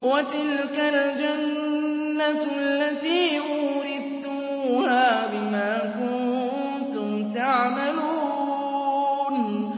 وَتِلْكَ الْجَنَّةُ الَّتِي أُورِثْتُمُوهَا بِمَا كُنتُمْ تَعْمَلُونَ